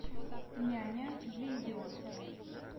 няня для идиотки